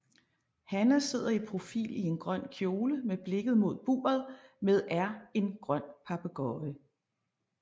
Hanna sidder i profil i en grøn kjole med blikket mod buret med er en grøn papegøje